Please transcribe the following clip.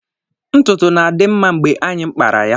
Ntutu na-adị mma mgbe anyị kpara pya.